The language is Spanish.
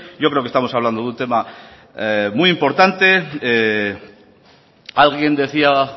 yo creo que estamos hablando de un tema muy importante alguien decía